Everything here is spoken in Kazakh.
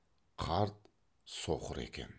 қарт соқыр екен